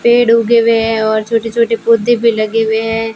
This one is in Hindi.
पेड़ उगे हुए हैं और छोटे छोटे पौधे भी लगे हुए हैं।